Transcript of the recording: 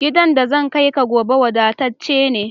Gidan da zan kai ka gobe wada tacce ne